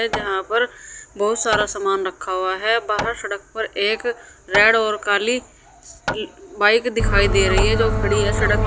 जहां पर बहुत सारा सामान रखा हुआ है बाहर सड़क पर एक रेड और काली बाइक दिखाई दे रही है जो खड़ी है सडक--